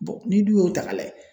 n'i dun y'o ta ka lajɛ